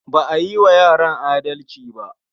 Ba a yi wa yaran adalci ba.